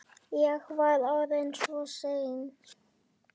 Ég var orðinn svo seinn.